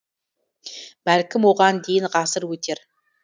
бәлкім оған дейін ғасыр өтер